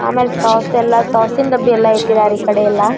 ಆಮೇಲೆ ಸಾಸ್ ಎಲ್ಲಾ ಸಾಸ್ ಸಿನ್ ಡಬ್ಬಿ ಎಲ್ಲಾ ಇಟ್ಟಿದರೆ ಈ ಕಡೆ ಎಲ್ಲಾ.